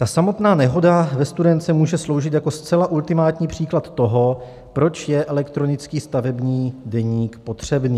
Ta samotná nehoda ve Studénce může sloužit jako zcela ultimátní příklad toho, proč je elektronický stavební deník potřebný.